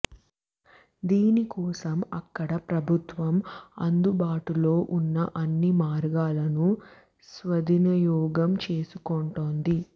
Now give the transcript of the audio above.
దీని కోసం అక్కడ ప్రభుత్వం అందుబాటులో ఉన్న అన్ని మార్గాలను సద్వినియోగం చేసుకుంటోంది